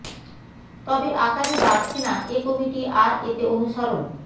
তবে আকারে বাড়ছে না এ কমিটি আর এতে অনুসরণ